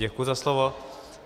Děkuju za slovo.